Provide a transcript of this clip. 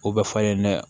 O bɛ falen dɛ